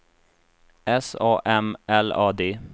S A M L A D